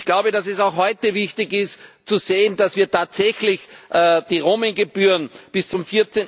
Ich glaube, dass es auch heute wichtig ist zu sehen, dass wir tatsächlich die Roaming Gebühren bis zum